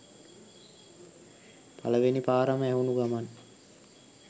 පලවෙනි පාරම ඇහුනු ගමන්